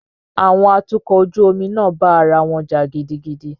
Àwọn atukọ̀ ojú omi náà bá ará wọn jà gidigidi.